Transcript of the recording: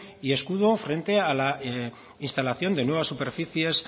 y escudo frente a la instalación de nuevas superficies